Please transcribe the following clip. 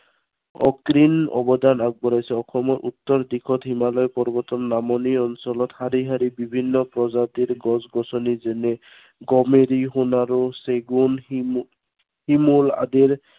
অসীম অৱদান আগবঢ়াইছে। অসমৰ উত্তৰ দিশত হিমালয় পৰ্বতৰ নামনি অঞ্চলত শাৰী শাৰী বিভিন্ন প্ৰজাতিৰ গছ গছনি, যেনে গমাৰি, সোনাৰু, চেগুন, শিম~শিমলু আদিৰ